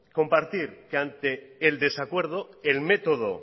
compartir que ante el desacuerdo el método